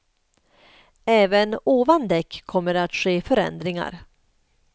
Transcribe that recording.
Även ovan däck kommer det att ske förändringar.